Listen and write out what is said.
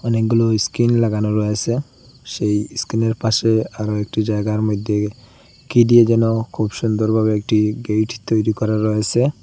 অনেকগুলো স্কিন লাগানো রয়েসে সেই স্কিনের পাশে আরো একটি জায়গার মধ্যে কী দিয়ে যেন খুব সুন্দরভাবে একটি গেট তৈরি করা রয়েসে।